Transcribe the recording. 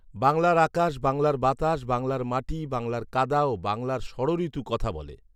বাংলার আকাশ, বাংলার বাতাস, বাংলার মাটি, বাংলার কাদা ও বাংলার ষড়ঋতু কথা বলে